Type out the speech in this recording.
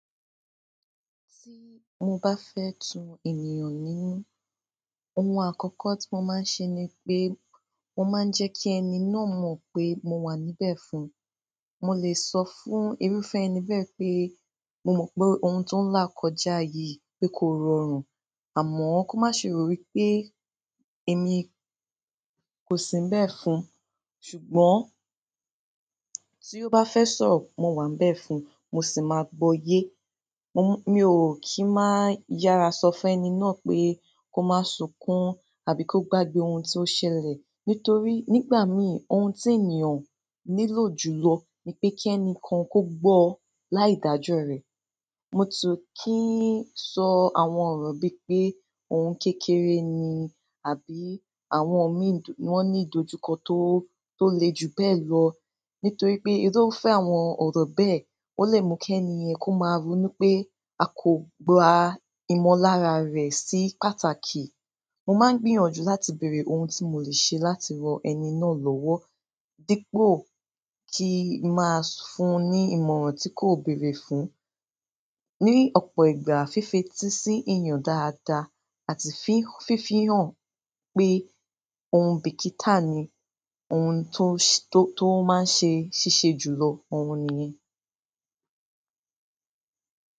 Tí mo bá fẹ́ tu ènìyàn nínú, ohun àkọ́kọ́ tí mo máa ń ṣe ni pé, mo máa ń jẹ́ kí ẹni náà mọ̀ pé mo wà níbẹ̀ fún un. Mo lè sọ fún irúfẹ́ ẹni bẹ́ẹ̀ pé, "Mo mọ̀ pé ohun tó ń là kọjá yìí pé kò rọrùn, àmọ́ kó má ṣe rò wí pé èmi kò sí nbẹ̀ fún un." Ṣùgbọ́n tí ó bá fẹ́ sọ̀rọ̀, mo wà níbẹ̀ fún un, mo sì máa gbọ́ yé. Mo, mi ò kí ń má yára sọ fún ẹni náà pé, kó máa sùnkún àbí kó gbágbé ohun tí ó ṣẹlẹ̀. Nítorí nígbà mìí ohun tí ènìyàn nílò jùlọ ni pé kí ẹni kan kó gbọ́ láì dájú rẹ̀. Mo ti kii sọ àwọn ọ̀rọ̀ bí pé "ohun kékeré ni" àbí "àwọn mii wọn ní ìdojúkọ tó, tó le jù bẹ́ẹ̀ lọ." Nítorí pé irúfẹ́ àwọn ọ̀rọ̀ bẹ́ẹ̀ ó lè mú kí ẹni yen kó máa rónú pé a kò gba ìmọ̀lára rẹ̀ sí pàtàkì. Mo máa ń gbìyànjú láti bèrè ohun tí mo lè ṣe láti ran ẹni náà lọ́wọ́ dípò kí n máa fún un ní ìmọ̀ràn tí kò béèrè fún. Ni ọ̀pọ̀ ìgbà fífeti sí ènìyàn dáadáa àti fí, fífi hàn pé ohun bíkítá ni ohun tó, tó máa ń ṣe ṣíṣe jùlọ, òhun nìyẹn.